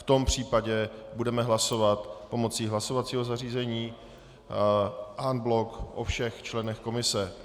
V tom případě budeme hlasovat pomocí hlasovacího zařízení en bloc o všech členech komise.